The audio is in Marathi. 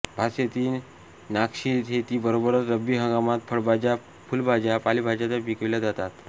भातशेती नागलीशेती बरोबरच रब्बी हंगामात फळभाज्या फुलभाज्या पालेभाज्या पिकविल्या जातात